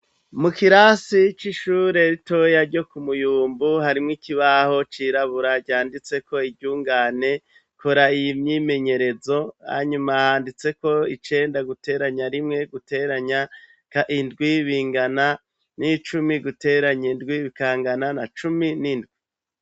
Mu kirasi c'ishure ritoya ryo ku muyumbu harimwo ikibaho c'irabura ryanditseko iryungane kora iy myimenyerezo hanyuma handitseko icenda guteranya rimwe guteranya indwi bingana n'icumi guteranya indwi bikangana na cumi n'indwi.